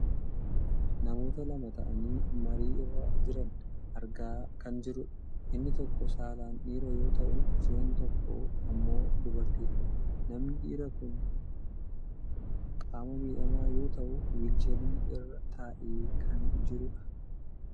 namoota lama ta'anii marii irra jiran argaa kan jirrudha. Inni tokko saalaan dhiira yoo ta'u isheen tokko ammoo dubartiidha. Namni dhiiraa kun qaama miidhamaa yoo ta'u "wheelchair" irra taa'ee kan jirudha.